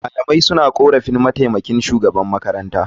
Malamai suna korafin mataimakin shugaban makarantar.